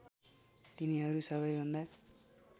तिनीहरू सबैभन्दा